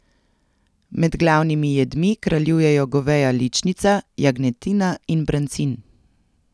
Med glavnimi jedmi kraljujejo goveja ličnica, jagnjetina in brancin.